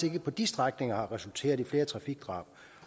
ikke på de strækninger har resulteret i flere trafikdrab